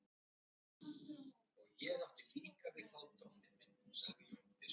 Stúlkan aftur á móti þarf að snúa frá móðurinni, líta annað.